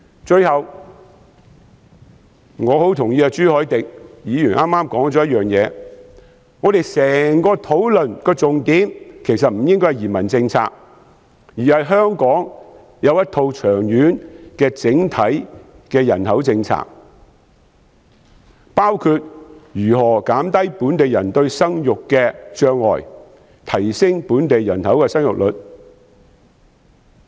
最後，我很同意朱凱廸議員剛才提及的一點：我們整個討論的重點其實不應該是移民政策，而是香港要有一套長遠的整體人口政策，包括如何減低本地人在生育方面的障礙，提升本地人口的生育率。